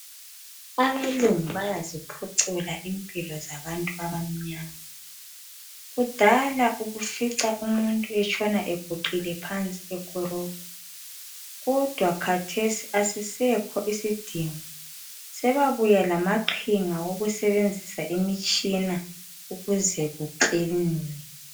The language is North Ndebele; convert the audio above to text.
Abelungu bayaziphucula impilo zabantu abamnyama. Kudala ubufica umuntu etshona eguqile phansi ekorobha. Kodwa khathesi asisekho isidingo sebabuya lamaqhinga wokusebenzisa imitshina ukuze kuklinwe.